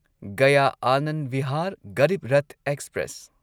Gaya Anand Bihar Garib Rath express